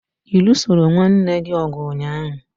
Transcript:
Ị lụsoro nwanne gị ọgụ ụnyaahụ?